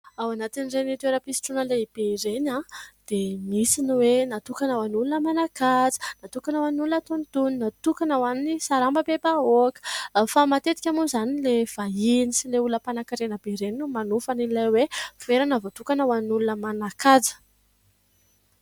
Ao anatin'ireny toeram-pisotroana lehibe ireny dia misy ny hoe natokana ho an'olona manan-kaja, natokana ho an'olona antonontonony, natokana ho an'ny sarambabem-bahoaka fa matetika moa izany ny ilay vahiny sy ilay olona mpanan-karena be ireny no manofa ilay hoe fitoerana voatokana ho an'olona manan-kaja.